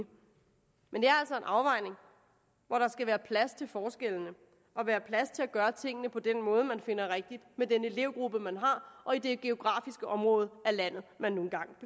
afvejning hvor der skal være plads til forskellene og være plads til at gøre tingene på den måde man finder rigtig med den elevgruppe man har og i det geografiske område man nu engang